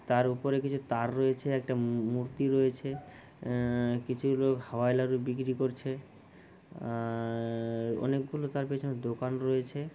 তার উপরে কিছু তার রয়েছে একটা মূ-মূ-মূর্তি রয়েছে আ-আ-আ কিছু লোক হাওাই নাড়ু বিক্রি করছে আ-আ-আ- আ অনেকগুলো তার পেছনের দোকান রয়েছে।